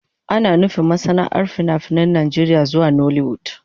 Ana nufin masana'antar fina-finan Najeriya zuwa nollywood.